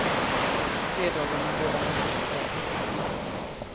På fredagarna delar man ut kläder. punkt